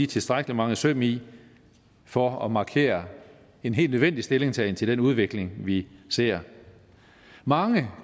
tilstrækkelig mange søm i for at markere en helt nødvendig stillingtagen til den udvikling vi ser mange